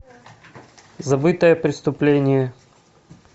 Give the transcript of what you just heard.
забытое преступление